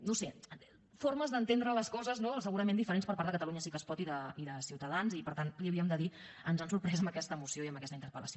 no ho sé formes d’entendre les coses no segurament diferents per part de catalunya sí que es pot i de ciutadans i per tant li ho havíem de dir ens han sorprès amb aquesta moció i amb aquesta interpel·lació